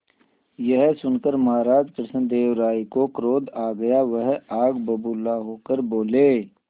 यह सुनकर महाराज कृष्णदेव राय को क्रोध आ गया वह आग बबूला होकर बोले